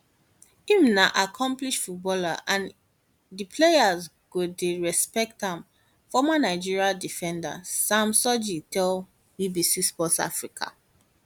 im na accomplished footballer and di players go dey respect am former nigeria defender sam sodje tell bbc sport africa